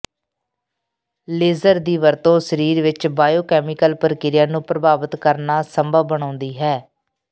laser ਦੀ ਵਰਤੋਂ ਸਰੀਰ ਵਿਚ ਬਾਇਓਕੈਮੀਕਲ ਪ੍ਰਕਿਰਿਆ ਨੂੰ ਪ੍ਰਭਾਵਿਤ ਕਰਨਾ ਸੰਭਵ ਬਣਾਉਂਦੀ ਹੈ